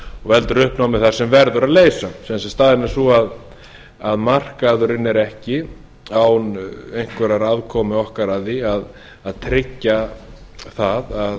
veldur uppnámi þar sem verður að leysa sem sagt staðan er sú að markaðurinn er ekki án einhverrar aðkomu okkar að því að tryggja það að